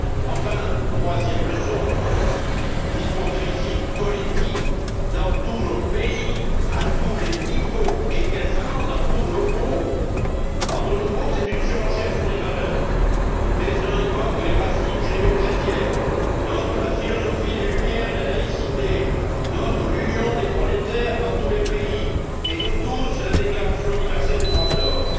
Enfin, troisième leçon l'hypocrisie politique dans tous nos pays, à tous les niveaux et quasiment dans tous nos groupes. Entre nos groupes, c'est une surenchère sur les valeurs les uns évoquent les racines judéo chrétiennes, d'autres la philosophie des Lumières et la laïcité, d'autres encore l'union des prolétaires dans tous les pays, et nous tous, la déclaration universelle des droits de l'homme.